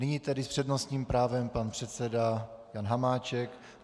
Nyní tedy s přednostním právem pan předseda Jan Hamáček.